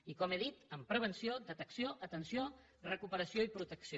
i com he dit amb prevenció detecció atenció recuperació i protecció